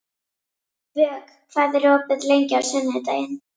Vök, hvað er opið lengi á sunnudaginn?